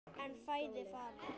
En í fæði fara